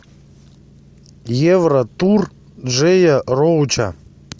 евротур джея роуча